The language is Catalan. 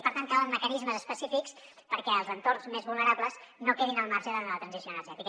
i per tant calen mecanismes específics perquè els entorns més vulnerables no quedin al marge en la transició energètica